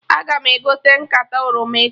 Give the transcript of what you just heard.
Aga m egote nkata oroma echi